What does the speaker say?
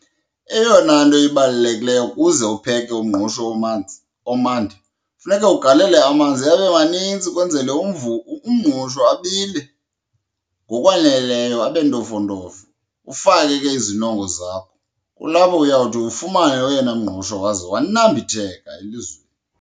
Eyona nto ibalulekileyo ukuze upheke umngqusho omanzi, omandi, funeke ugalele amanzi abe manintsi kwenzele umngqusho abile ngokwaneleyo abe ntofontofo, ufake ke izinongo zakho. Kulapho uyawuthi ufumane oyena mngqusho waze wanambitheka elizweni.